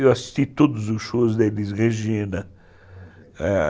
Eu assisti todos os shows da Elis Regina.